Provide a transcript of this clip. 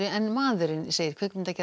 en maðurinn segir